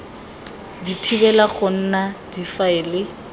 di thibela go nna difaele